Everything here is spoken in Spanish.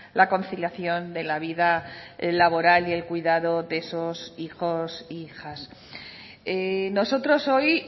la conciliación de la vida laboral y el cuidado de esos hijos e hijas nosotros hoy